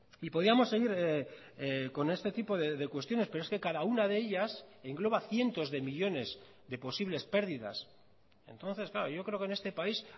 y podíamos seguir con este tipo de cuestiones pero es que cada una de ellas engloba cientos de millónes de posibles pérdidas entonces claro yo creo que en este país